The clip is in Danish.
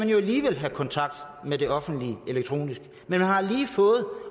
have kontakt med det offentlige elektronisk man har lige fået